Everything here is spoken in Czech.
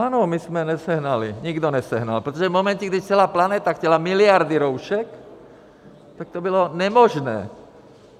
Ano, my jsme nesehnali; nikdo nesehnal, protože v momentě, kdy celá planeta chtěla miliardy roušek, tak to bylo nemožné.